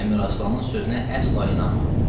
Əmiraslanın sözünə əsla inanma.